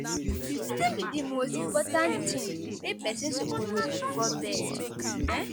Wetin be di most important thing wey pesin suppose do before bed? um